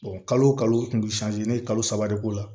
kalo kalo o ne ye kalo saba de k'o la